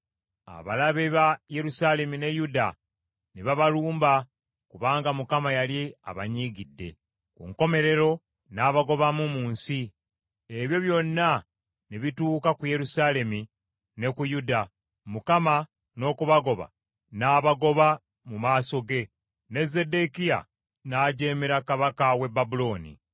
Abalabe ba Yerusaalemi ne Yuda ne babalumba kubanga Mukama yali abanyiigidde. Ku nkomerero n’abagobamu mu nsi. Ebyo byonna ne bituuka ku Yerusaalemi ne ku Yuda, Mukama n’okubagoba n’abagoba mu maaso ge, ne Zeddekiya n’ajeemera kabaka w’e Babulooni.